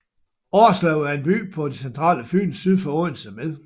Årslev er en by på det centrale Fyn syd for Odense med